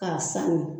K'a sanuya